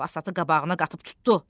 Basatı qabağına qatıb tutdu.